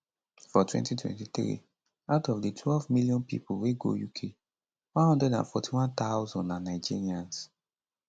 for 2023 out of di 12million pipo wey go uk 141000 na nigerians